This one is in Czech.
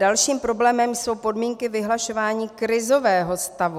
Dalším problémem jsou podmínky vyhlašování krizového stavu.